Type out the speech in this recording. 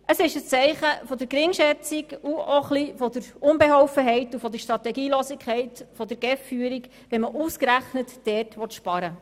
Es ist ein Zeichen der Geringschätzung, auch der Unbeholfenheit und der Strategielosigkeit seitens der GEF-Führung, wenn man ausgerechnet dort sparen will.